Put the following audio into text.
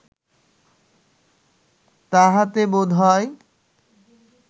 তাহাতে বোধ হয়